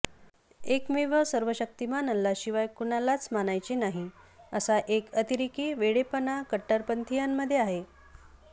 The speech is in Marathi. एकमेव सर्वशक्तिमान अल्लाशिवाय कुणालाच मानायचे नाही असा एक अतिरेकी वेडेपणा कट्टरपंथीयांमध्ये आहे